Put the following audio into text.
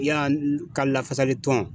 Yan ka lafasali tɔn.